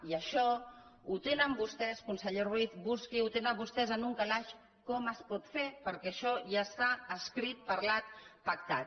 i això ho tenen vostès conseller ruiz busqui ho ho tenen vostès en un calaix com es pot fer perquè això ja està escrit parlat pactat